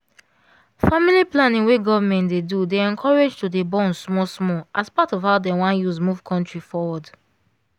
family planning wey government dey do dey encourage to dey born small small as part of how them wan use move country forward.